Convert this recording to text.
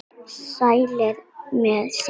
Sælir með sitt.